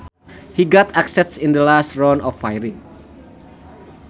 He got axed in the last round of firings